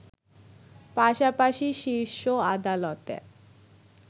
পাশাপাশিই শীর্ষ আদালতে